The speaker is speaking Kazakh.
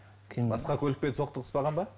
басқа көлікпен соқтығыспаған ба